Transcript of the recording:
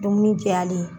Dumuni cayali ye